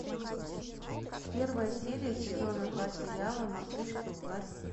первая серия сезона два сериала мартышки у власти